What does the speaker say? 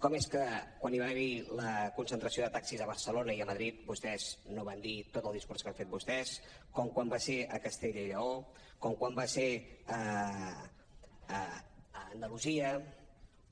com és que quan hi va haver la concentració de taxis a barcelona i a madrid vostès no van dir tot el discurs que han fet vostès com quan va ser a castella i lleó com quan va ser a andalusia